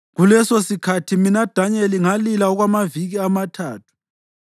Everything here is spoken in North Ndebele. Kulesosikhathi mina Danyeli ngalila okwamaviki amathathu.